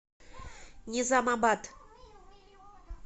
низамабад